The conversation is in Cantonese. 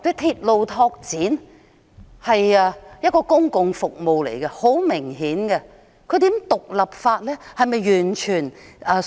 鐵路拓展很明顯是公共服務，如何將其獨立分拆出來？